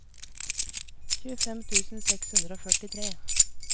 tjuefem tusen seks hundre og førtitre